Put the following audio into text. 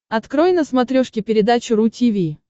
открой на смотрешке передачу ру ти ви